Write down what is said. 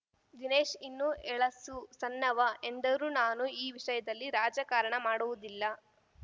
ದಿನೇಶ್‌ ಇನ್ನೂ ಎಳಸು ಸಣ್ಣವ ಎಂದರು ನಾನು ಈ ವಿಷಯದಲ್ಲಿ ರಾಜಕಾರಣ ಮಾಡುವುದಿಲ್ಲ